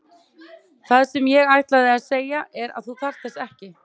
Og það sem ég ætlaði að segja er að þú þarft þess ekki.